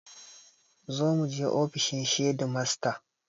Zo muje ofishin shedimasta